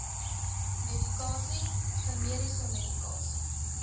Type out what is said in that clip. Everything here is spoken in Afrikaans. medikasie generiese medikasie